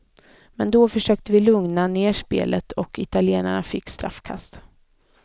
Men då försökte vi lugna ner spelet och italienarna fick straffkast.